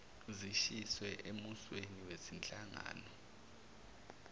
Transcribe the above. zishiywe emuseni wezinhlangano